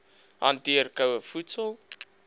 hanteer koue voedsel